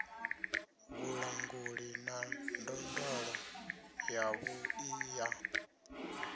vhulanguli na ndondolo yavhuḓi ya